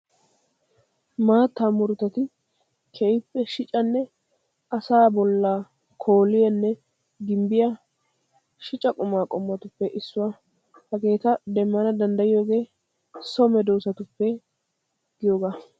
Maattaa murutati keehippe shicanne asaa bollaa kooliyaanne gimbbiyaa shica qumaa qommotuppe issuwaa. Hegeeta demmana danddayiyoogee so medoosatuppe giyoogaa.